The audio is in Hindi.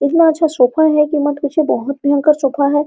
इतना अच्छा सोफा है की मत पूछिए बहोत भयंकर सोफा है।